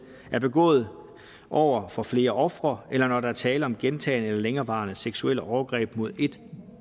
er begået over for flere ofre eller når der er tale om gentagne eller længerevarende seksuelle overgreb mod et